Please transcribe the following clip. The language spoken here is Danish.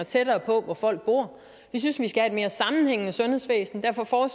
tættere på hvor folk bor vi synes vi skal have et mere sammenhængende sundhedsvæsen derfor